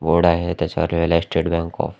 पुढं आहे त्याच्यावर लिहिलं आहे स्टेट बँक ऑफ --